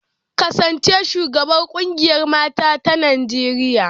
Kasance shugabar kungiyar mata ta Najeriya.